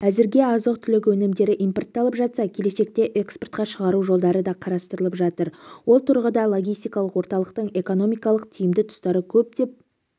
әзірге азық-түлік өнімдері импортталып жатса келешекте экспортқа шығару жолдары да қарастырылып жатыр осы тұрғыда логистикалық орталықтың экономикалық тиімді тұстары көп деп